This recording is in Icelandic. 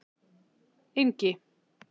Engi